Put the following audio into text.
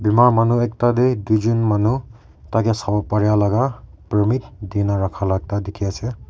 aro manu ekta tae tuijon manu taikae sawo paraelaka permit dina rakhala ekta dikhiase.